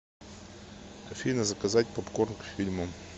афина заказать попкорн к фильму